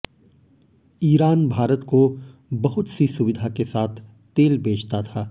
Iran Bharat को बहुत सी सुविधा के साथ तेल बेचता था